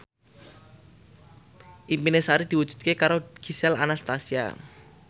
impine Sari diwujudke karo Gisel Anastasia